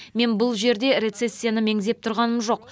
мен бұл жерде рецессияны меңзеп тұрғаным жоқ